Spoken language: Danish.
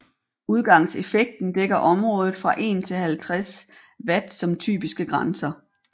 Udgangseffekten dækker området fra 1 til 50 W som typiske grænser